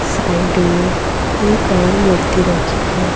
Side में एक और मूर्ती रखी है।